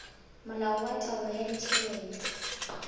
molao wa taolo ya ditjhelete